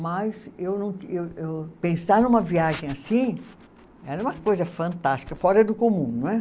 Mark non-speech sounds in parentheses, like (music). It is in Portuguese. Mas eu não (unintelligible) eu eu, pensar numa viagem assim era uma coisa fantástica, fora do comum, não é?